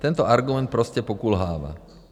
Tento argument prostě pokulhává.